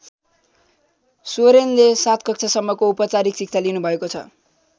सोरेनले ७ कक्षासम्मको औपचारिक शिक्षा लिनुभएको छ।